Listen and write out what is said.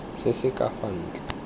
se se ka fa ntle